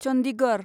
Chandigarh